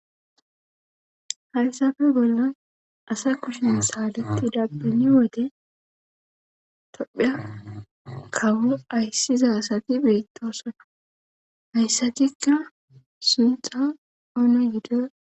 hayssafe bollan asa kushe saletida beni wode tophiya kawo ayssiza asati beitosona hayssatikka suntha oona gido